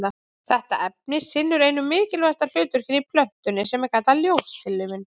Þetta efni sinnir einu mikilvægasta hlutverkinu í plöntunni sem er kallað ljóstillífun.